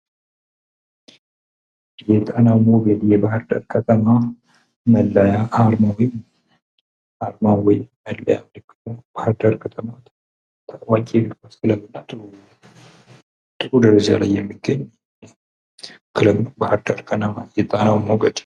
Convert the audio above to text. የጣናው ሞገድ የባህር ዳር ከተማ መለያ ወይም መለያ ነው ።ባህር ዳር ከተማ ታዋቂ ጥሩ ደረጃ ላይ የሚገኝ የጣናው ሞገድ ነው ።